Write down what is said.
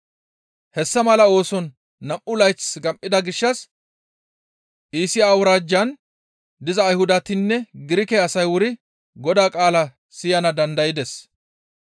Hessa mala ooson nam7u layth gam7ida gishshas Iisiya awuraajjan diza Ayhudatinne Girike asay wuri Godaa qaala siyana dandaydes.